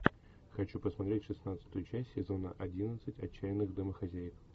хочу посмотреть шестнадцатую часть сезона одиннадцать отчаянных домохозяек